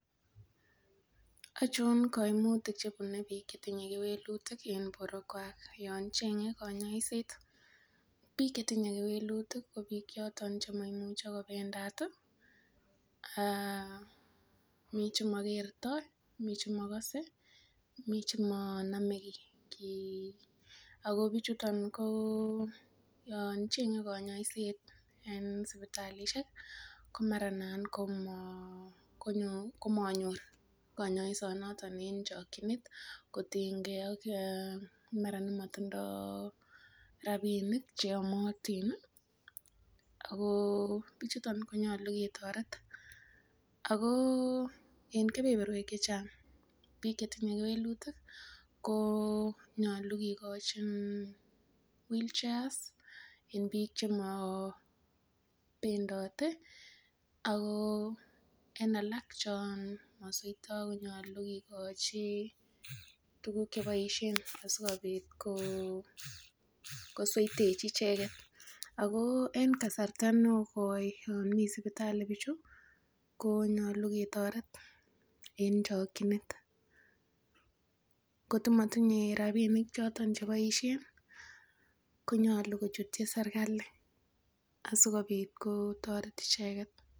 Ochon koimutik chebune biik chetinye kewelutik en boruekwak yon cheng'e konyoiset, Biik chetinye kewelutik ko biik choton chemoimuche kobendat aah, mi chemokerto, mi chemokose, mi chemonome kii ako bichuton yo cheng'e konyoiset en sipitalisiek komara nanan komanyor kanyoisonoton en chokyinet kotiny ge ak nemara motindoo rapinik cheyomotin ii akoo bichuton konyolu ketoret akoo en kebeberwek chechang biik chetinye kewelutik konyolu kikochi wheelchairs en biik chemobendote, koo en alak chomosweito konyolu kikochi tukuk cheboisien asikobit kosweitechi icheket akoo en kasarta nekoi yomii sipitali bichu koo nyolu ketoret en chokyinet koto motinye rapinik choton cheboisien konyolu kochutyi serikali asikobit kotoret icheket.